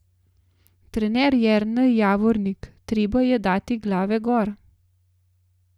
Trener Jernej Javornik: "Treba je dati glave gor.